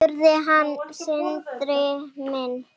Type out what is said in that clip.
Spurði hann Sindri minn.